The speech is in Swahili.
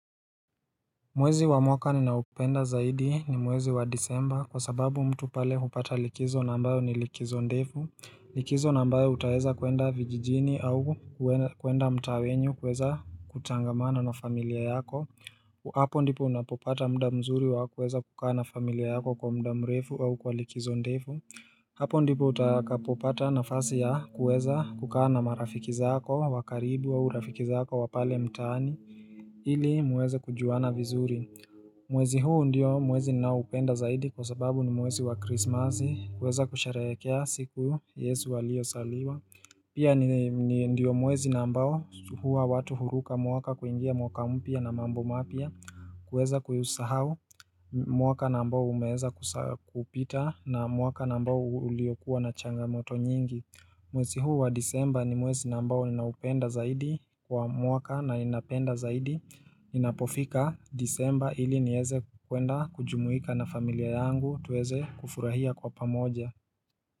Mwezi wa mwaka ninaupenda zaidi ni mwezi wa disemba kwa sababu mtu pale hupata likizo ambayo ni likizo ndefu likizo na abayo utaweza kuenda vijijini au kuenda mtaa wenyu kuweza kutangamana na familia yako hapo ndipo unapopata mda mzuri wa kuweza kukaa na familia yako kwa mda mrefu au kwa likizo ndefu hapo ndipo utakapopata nafasi ya kuweza kukaa na marafiki zako wa karibu wa urafiki zako wapale mtaani Hili muweze kujuana vizuri. Mwezi huu ndiyo mwezi ninaupenda zaidi kwa sababu ni mwezi wa krismazi. Kuweza kushehekea siku yesu aliyo zaliwa. Pia ni ndio mwezi na ambao sa watu huruka mwaka kuingia mwaka mpya na mambo mapya. Kuweza kuisahau mwaka na ambao umeza kupita na mwaka na ambao uliokuwa na changamoto nyingi. Mwezi huu wa disemba ni mwezi nambao ninaupenda zaidi kwa mwaka na inapenda zaidi. Inapofika disemba ili nieze kuenda kujumuika na familia yangu tuweze kufurahia kwa pamoja.